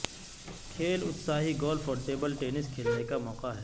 کھیل اتساہی گولف اور ٹیبل ٹینس کھیلنے کا موقع ہے